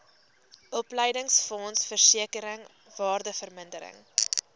opleidingsfonds versekering waardevermindering